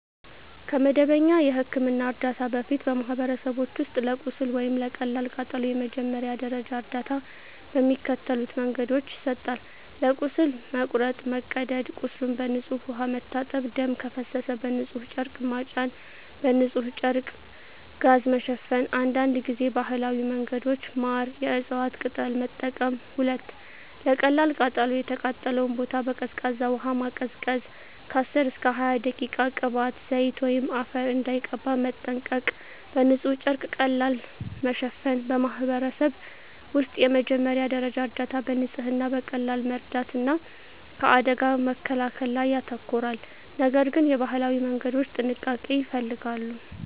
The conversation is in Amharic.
ከመደበኛ የሕክምና እርዳታ በፊት፣ በማኅበረሰቦች ውስጥ ለቁስል ወይም ለቀላል ቃጠሎ የመጀመሪያ ደረጃ እርዳታ በሚከተሉት መንገዶች ይሰጣል፦ ለቁስል (መቁረጥ፣ መቀደድ) ቁስሉን በንጹሕ ውሃ መታጠብ ደም ከፈሰሰ በንጹሕ ጨርቅ መጫን በንጹሕ ጨርቅ/ጋዝ መሸፈን አንዳንድ ጊዜ ባህላዊ መንገዶች (ማር፣ የእፅዋት ቅጠል) መጠቀም 2. ለቀላል ቃጠሎ የተቃጠለውን ቦታ በቀዝቃዛ ውሃ ማቀዝቀዝ (10–20 ደቂቃ) ቅባት፣ ዘይት ወይም አፈር እንዳይቀባ መጠንቀቅ በንጹሕ ጨርቅ ቀለል ማሸፈን በማኅበረሰብ ውስጥ የመጀመሪያ ደረጃ እርዳታ በንጽህና፣ በቀላል መርዳት እና ከአደጋ መከላከል ላይ ያተኮራል፤ ነገር ግን የባህላዊ መንገዶች ጥንቃቄ ይፈልጋሉ።